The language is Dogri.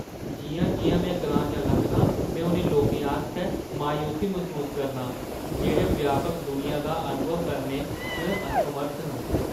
जिʼयां-जिʼयां में ग्रांऽ चा लंघनां, में उ'नें लोकें आस्तै मायूसी मसूस करना आं जेह्‌ड़े व्यापक दुनिया दा अनुभव करने च असमर्थ न।